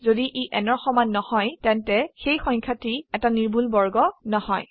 যদি ই n ৰ সমান নহয় তেন্তে সেই সংখ্যাটি এটা নিৰ্ভুল বৰ্গ নহয়